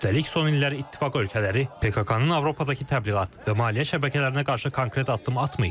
Üstəlik, son illər ittifaq ölkələri PKK-nın Avropadakı təbliğat və maliyyə şəbəkələrinə qarşı konkret addım atmayıb.